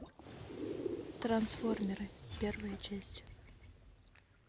трансформеры первая часть